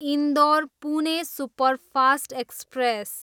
Indore, Pune superfast express